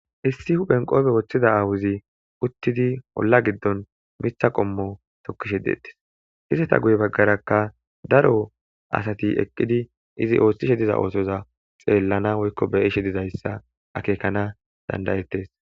Hissi huphen qoobe woththida aawuzi uttidi olla giddon mitha qommo tokkishe deettis izeta guye baggarakka daro asati eqqidi izi ooththishe diza oosoza xeellana woykko beyishe dizayssa akeekana dandayettes